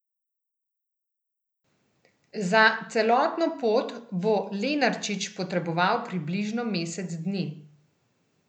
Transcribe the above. Za celotno pot bo Lenarčič potreboval približno mesec dni.